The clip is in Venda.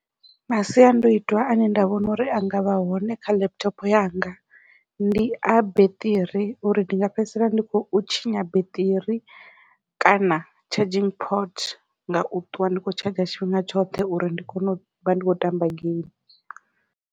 Masiandoitwa ane nda vhona uri anga vha hone kha laptop yanga ndi a beṱiri uri ndi nga fhedzisela ndi khou tshinya beṱiri kana charging pot ngau ṱwa ndi khou tshadzha tshifhinga tshoṱhe uri ndi kone u vha ndi khou tamba geimi.